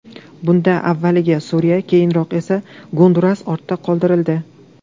Bunda avvaliga Suriya, keyinroq esa Gonduras ortda qoldirildi.